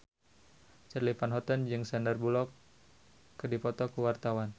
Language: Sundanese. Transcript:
Charly Van Houten jeung Sandar Bullock keur dipoto ku wartawan